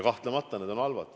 Kahtlemata see on halb.